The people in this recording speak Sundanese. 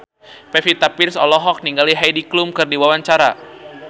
Pevita Pearce olohok ningali Heidi Klum keur diwawancara